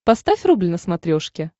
поставь рубль на смотрешке